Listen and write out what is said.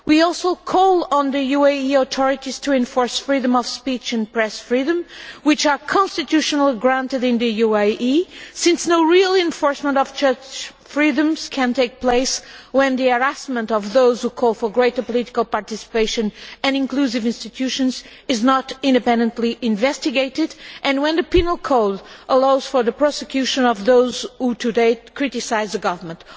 We also call on the UAE authorities to enforce freedom of speech and press freedom, which are granted under the Constitution in the UAE, since no real enforcement of such freedoms can take place when the harassment of those who call for greater political participation and inclusive institutions is not independently investigated, and when the penal code allows for the prosecution of those who today criticise the government.